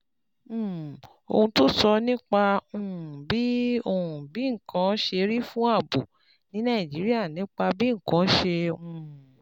um Ohun tó sọ nípa um bí um bí nǹkan ṣe rí fún ààbò ní Nàìjíríà Nípa bí nǹkan ṣe um